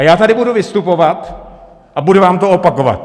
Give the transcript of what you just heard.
A já tady budu vystupovat a budu vám to opakovat!